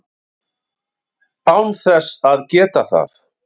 án þess að geta það.